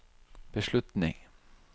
beslutning